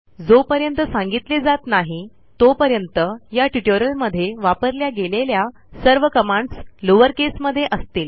जोपर्यंत सांगितले जात नाही तोपर्यंत या ट्युटोरियल मध्ये वापरल्या गेलेल्या सर्व कमांडस लोअर केसमध्ये असतील